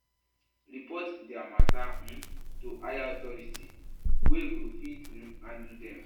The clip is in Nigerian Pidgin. Report their matter um to higher authority wey go fit um handle dem